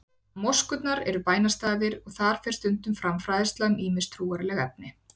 Moskurnar eru bænastaðir og þar fer stundum fram fræðsla um ýmis trúarleg efni.